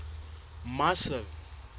marcel